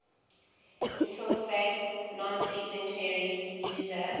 intelsat nonsignatory user